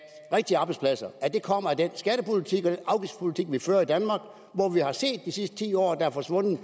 rigtige arbejdspladser kommer af den skattepolitik og afgiftspolitik vi fører i danmark hvor vi har set de sidste ti år at der er forsvundet